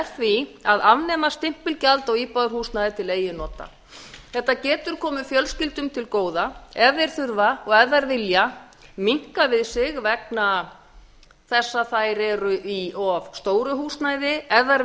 því að afnema stimpilgjald á íbúðarhúsnæði til eigin nota þetta getur komið fjölskyldum til góða ef þær þurfa og ef þær vilja minnka við sig vegna þess að þær eru í of stóru húsnæði ef þær